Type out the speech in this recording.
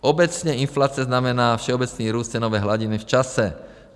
Obecně inflace znamená všeobecný růst cenové hladiny v čase.